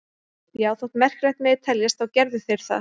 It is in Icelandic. Já, þótt merkilegt megi teljast þá gerðu þeir það.